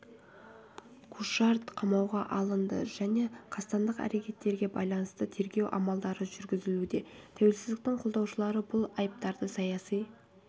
кушарт қамауға алынды және қастандық әрекеттерге байланысты тергеу амалдары жүргізілуде тәуелсіздіктің қолдаушылары бұл айыптарды саяси